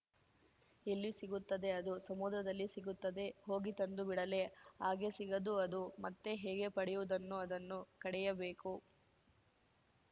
ಎಲ್ಲಿ ಸಿಗುತ್ತದೆ ಅದು ಸಮುದ್ರದಲ್ಲಿ ಸಿಗುತ್ತದೆ ಹೋಗಿ ತಂದುಬಿಡಲೇ ಹಾಗೆ ಸಿಗದು ಅದು ಮತ್ತೆ ಹೇಗೆ ಪಡೆಯುವುದನ್ನು ಅದನ್ನು ಕಡೆಯಬೇಕು